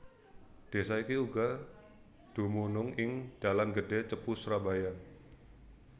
Desa iki uga dumunung ing dalan gedhé Cepu Surabaya